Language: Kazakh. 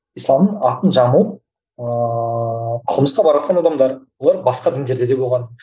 исламның атын жамылып ыыы қылмысқа баратын адамдар олар басқа діндерде де болған